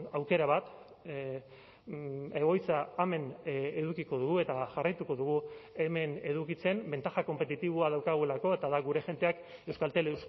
aukera bat egoitza hemen edukiko dugu eta jarraituko dugu hemen edukitzen ventaja konpetitiboa daukagulako eta da gure jendeak euskaltel